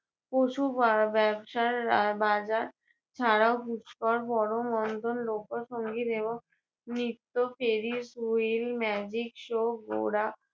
পশু বা~ ব্যবসার আহ বাজার ছাড়াও পুষ্কর বড় লোকসংগীত এবং নৃত্য, magic show ঘোড়া